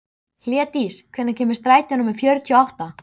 Hlédís, hvenær kemur strætó númer fjörutíu og átta?